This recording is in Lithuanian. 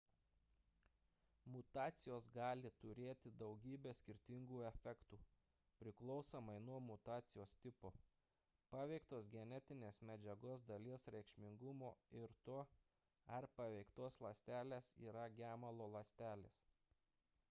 mutacijos gali turėti daugybę skirtingų efektų priklausomai nuo mutacijos tipo paveiktos genetinės medžiagos dalies reikšmingumo ir to ar paveiktos ląstelės yra gemalo ląstelės